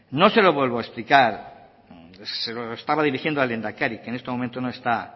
no se lo vuelvo a explicar se lo estaba dirigiendo al lehendakari que en este momento no está